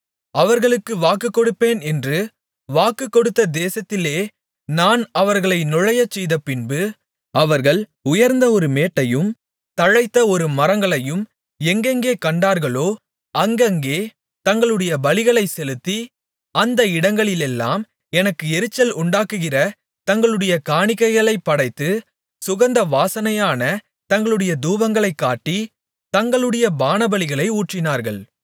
அவர்களுக்குக் கொடுப்பேன் என்று வாக்குகொடுத்த தேசத்திலே நான் அவர்களை நுழையச்செய்த பின்பு அவர்கள் உயர்ந்த ஒரு மேட்டையும் தழைத்த ஒரு மரங்களையும் எங்கெங்கே கண்டார்களோ அங்கங்கே தங்களுடைய பலிகளைச் செலுத்தி அந்த இடங்களிலெல்லாம் எனக்கு எரிச்சல் உண்டாக்குகிற தங்களுடைய காணிக்கைகளைப் படைத்து சுகந்த வாசனையான தங்களுடைய தூபங்களைக் காட்டி தங்களுடைய பானபலிகளை ஊற்றினார்கள்